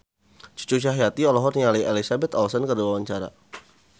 Cucu Cahyati olohok ningali Elizabeth Olsen keur diwawancara